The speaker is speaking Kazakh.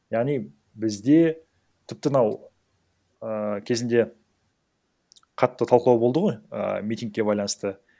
яғни бізде тіпті мынау ііі кезінде қатты талқылау болды ғой і митингке байланысты